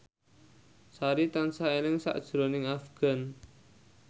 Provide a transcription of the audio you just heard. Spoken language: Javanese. Sari tansah eling sakjroning Afgan